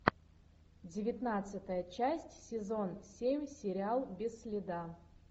девятнадцатая часть сезон семь сериал без следа